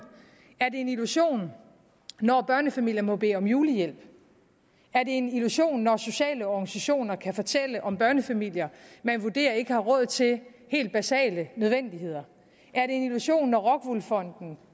er det en illusion når børnefamilier må bede om julehjælp er det en illusion når sociale organisationer kan fortælle om børnefamilier man vurderer ikke har råd til helt basale nødvendigheder er det en illusion når rockwool fonden